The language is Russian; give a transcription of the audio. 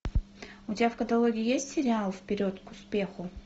у тебя в каталоге есть сериал вперед к успеху